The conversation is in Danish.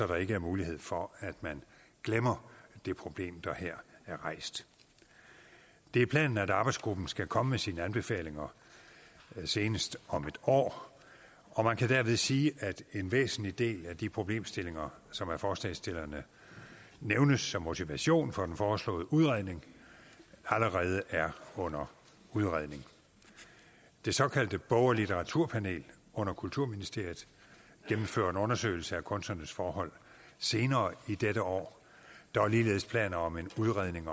der ikke er mulighed for at man glemmer det problem der her er rejst det er planen at arbejdsgruppen skal komme med sine anbefalinger senest om et år og man kan dermed sige at en væsentlig del af de problemstillinger som af forslagsstillerne nævnes som motivation for den foreslåede udredning allerede er under udredning det såkaldte bog og litteraturpanel under kulturministeriet gennemfører en undersøgelse af kunstnernes forhold senere i dette år og der er ligeledes planer om en udredning